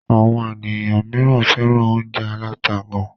Àwọn ènìyàn míràn fẹ́ràn óúnjẹ aláta gán.